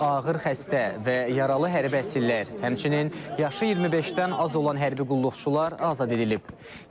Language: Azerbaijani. Ağır xəstə və yaralı hərbi əsirlər, həmçinin yaşı 25-dən az olan hərbi qulluqçular azad edilib.